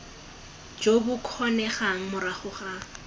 jo bo kgonegang morago ga